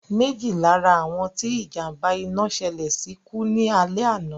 Méjì lá ra àwọn tí ìjàm̀ba iná ṣẹlẹ̀ sí kú ní alẹ́ àná